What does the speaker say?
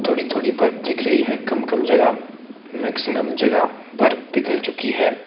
थोड़ी थोड़ी बर्फ दिख रही है कम कम जगह मैक्सिमम जगह बर्फ पिघल चुकी है।